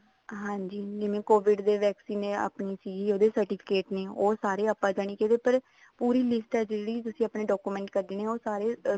ਹਾਂਜੀ ਜਿਵੇਂ COVID ਦੀ vaccine ਸੀ ਉਹਦੇ certificate ਨੇ ਉਹ ਸਾਰੇ ਆਪਾਂ ਜਾਣੀ ਕੀ ਪੂਰੀ list ਆ ਜਿਹੜੀ ਤੁਸੀਂ ਆਪਣੇ document ਕੱਡਨੇ ਆ ਉਹ ਸਾਰੇ